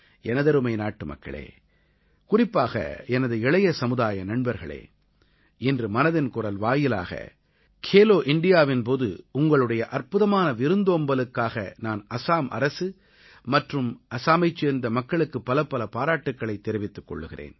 எனதருமை நாட்டுமக்களே குறிப்பாக எனது இளைய சமுதாய நண்பர்களே இன்று மனதின் குரல் வாயிலாக கேலோ இண்டியாவின் போது உங்களுடைய அற்புதமான விருந்தோம்பலுக்காக நான் அஸாம் அரசு மற்றும் அஸாமைச் சேர்ந்த மக்களுக்கு பலப்பல பாராட்டுக்களைத் தெரிவித்துக் கொள்கிறேன்